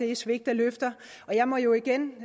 er svigt af løfter og jeg må jo igen